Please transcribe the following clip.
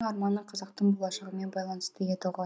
арманы қазақтың болашағымен байланысты еді ғой